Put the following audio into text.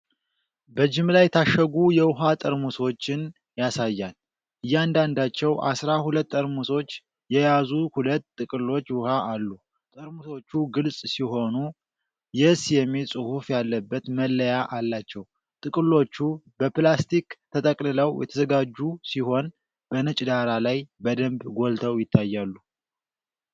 በጅምላ የታሸጉ የውሃ ጠርሙሶችን ያሳያል። እያንዳንዳቸው አስራ ሁለት ጠርሙሶች የያዙ ሁለት ጥቅሎች ውሃ አሉ። ጠርሙሶቹ ግልጽ ሲሆኑ "YES" የሚል ጽሑፍ ያለበት መለያ አላቸው። ጥቅሎቹ በፕላስቲክ ተጠቅልለው የተዘጋጁ ሲሆን፣ በነጭ ዳራ ላይ በደንብ ጎልተው ይታያሉ።